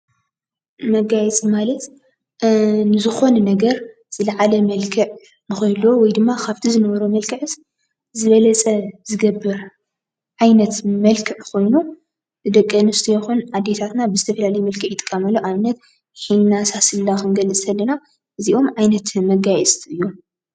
መጋየፂ ማለት ንዝኮነ ነገር ዝለዓለ መልክዕ ንክህልዎ ወይ ድማ ካብቲ ዝነበሮ መልክዕ ዝበለፀ ዝገብር ዓይነት መልክዕ ኮይኑ ደቂ አንስትዮ ይኩን አዴታትና ብዝተፈላለዮ መልክዕ ይጥቀምሉ ንአብነት ሒና፣ ሳስላ ከንገልፀ ከለና እዚኦም ዓይነት መጋየፂ እዮም።